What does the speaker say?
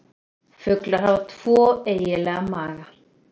Fuglar hafa tvo eiginlega maga.